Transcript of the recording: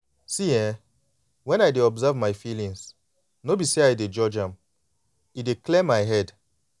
see[um]when i dey observe my feelings no be say i dey judge am e dey clear my head.